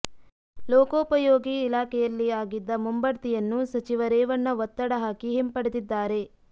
ಲೋಕೋಪಯೋಗಿ ಇಲಾಖೆಯಲ್ಲಿ ಆಗಿದ್ದ ಮುಂಭಡ್ತಿಯನ್ನು ಸಚಿವ ರೇವಣ್ಣ ಒತ್ತಡ ಹಾಕಿ ಹಿಂಪಡೆದಿದ್ದಾರೆ